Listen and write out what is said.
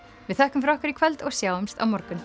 við þökkum fyrir okkur í kvöld og sjáumst á morgun